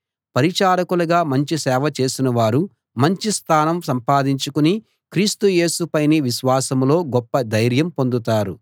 పరిచారకులుగా మంచి సేవ చేసిన వారు మంచి స్థానం సంపాదించుకుని క్రీస్తు యేసు పైని విశ్వాసంలో గొప్ప ధైర్యం పొందుతారు